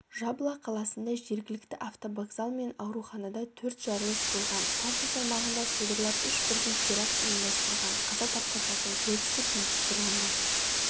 джабла қаласында жергілікті автовокзал мен ауруханада төрт жарылыс болған тартус аймағында содырлар үш бірдей теракт ұйымдастырған қаза тапқандардың көбісі бейбіт тұрғындар